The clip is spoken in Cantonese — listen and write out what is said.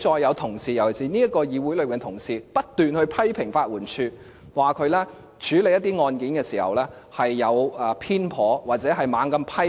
我聽到這個議會內的同事不斷批評法援署，指署方處理一些案件時有所偏頗，或胡亂